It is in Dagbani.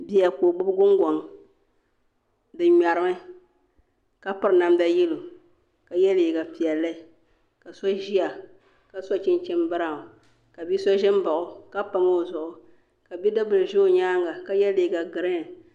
Bia ka o gbubi gungoŋ di ŋmɛrimi ka piri namda yɛlo ka yɛ liiga piɛlli ka so ʒiya ka so chinchin biraawn ka bia so ʒɛ n baɣa o ka pam o zuɣu kq bidib bili ʒɛ o nyaanga ka yɛ liiga giriin